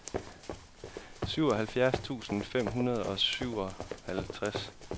syvoghalvfjerds tusind fem hundrede og syvoghalvtreds